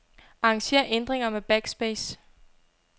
Arranger ændringer med backspace.